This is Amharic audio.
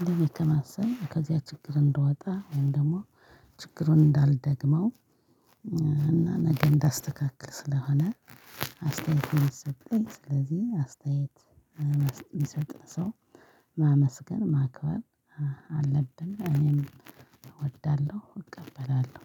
እንደዚህ ከማሰብ ከዚያ ችግር እንድወጣ ወይም ደግሞ ችግሩን እንዳልደግመው። እና ነገ እንዳስተካክል ስለሆነ አስተያየት ሚሰጠን ስለዚህ አስተያየት የሚሰጥ ሰው ማመስገን ማክበር አለብን እኔም እወዳለሁ እቀበላለሁ።